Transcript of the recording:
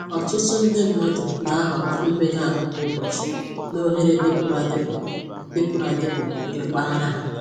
Ọtụtụ ndị mmadụ na-ahọrọ imega ahụ kwa ụbọchị na oghere dịpụrụ adịpụ dịpụrụ adịpụ nke mpaghara ha